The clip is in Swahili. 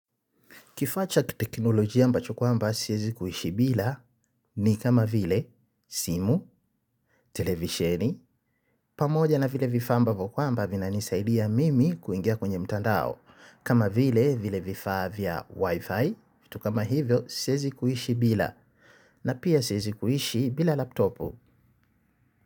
Kifaa cha kiteknolojia ambacho kwamba siwezi kuishi bila ni kama vile simu televisheni, pamoja na vile vifaa ambavo kwamba vinanisaidia mimi kuingia kwenye mtandao, kama vile vile vifaa vya wifi, vitu kama hivyo siezi kuishi bila, na pia siezi kuishi bila laptopu.